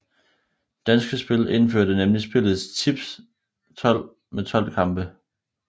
Danske Spil indførte nemlig spillet Tips 12 med tolv kampe